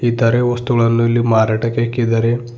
ಇತರೆ ವಸ್ತುಗಳನ್ನು ಇಲ್ಲಿ ಮಾರಾಟಕ್ಕೆ ಇಕ್ಕಿದ್ದಾರೆ.